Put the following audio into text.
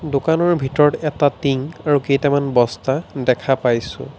দোকানৰ ভিতৰত এটা টিং আৰু কেইটামান বস্তা দেখা পাইছোঁ।